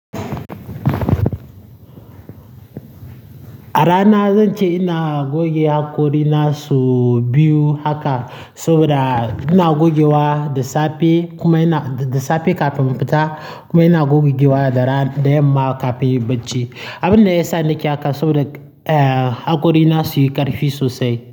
A rana zan ce ina goge hakori na sau biyu haka, saboda ina gogewa da safe kuma ina-- da safe kafin in fita kuma ina gogewa daran da yamma kafin bacci. Abin da ya sa nake haka saboda, eh, hakori na su yi ƙarfi sosai.